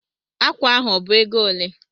Ákwà ahụ ọ bụ égo olé?